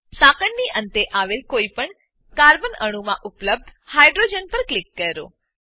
સાંકળની અંતે આવેલ કોઈપણ કાર્બન કાર્બન અણુઓમાં ઉપલબ્ધ હાઇડ્રોજન પર ક્લિક કરો